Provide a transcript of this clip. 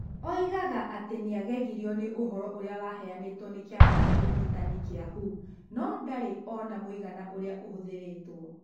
Oigaga atĩ nĩ agegirio nĩ ũhoro ũrĩa ũheanĩtwo nĩ kĩama kĩa ũrigitani gĩa thĩ (WHO). No ndarĩ ona mũigana ũrĩa ũhũthĩrĩtwo.